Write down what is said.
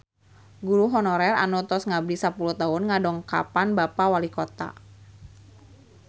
Guru honorer anu tos ngabdi sapuluh tahun ngadongkapan Bapak Walikota